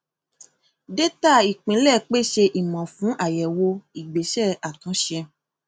dátà ìpilẹ pèsè ìmọ fún àyẹwò ìgbésẹ àtúnṣe